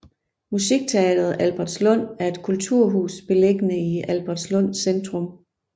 Musikteatret Albertslund er et kulturhus beliggende i Albertslund Centrum